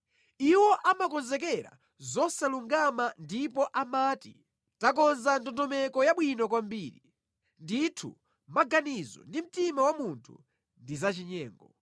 Iwo amakonzekera zosalungama ndipo amati, “Takonza ndondomeko yabwino kwambiri!” Ndithu maganizo ndi mtima wa munthu ndi zachinyengo.